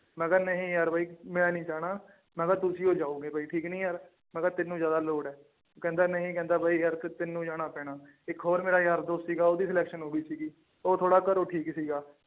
ਮੈਂ ਕਿਹਾ ਨਹੀਂ ਯਾਰ ਬਾਈ ਮੈਂ ਨੀ ਜਾਣਾ ਮੈਂ ਕਿਹਾ ਤੁਸੀਂ ਹੋਈ ਜਾਊਗੇ ਬਾਈ ਠੀਕ ਨੀ ਯਾਰ ਮੈਂ ਕਿਹਾ ਤੈਨੂੰ ਜ਼ਿਆਦਾ ਲੋੜ ਹੈ ਕਹਿੰਦਾ ਨਹੀਂ ਕਹਿੰਦਾ ਬਾਈ ਯਾਰ ਕਿ ਤੈਨੂੰ ਜਾਣਾ ਪੈਣਾ ਇੱਕ ਹੋਰ ਮੇਰਾ ਯਾਰ ਦੋਸਤ ਸੀਗਾ ਉਹਦੀ selection ਹੋ ਗਈ ਸੀਗੀ ਉਹ ਥੋੜ੍ਹਾ ਘਰੋਂ ਠੀਕ ਸੀਗਾ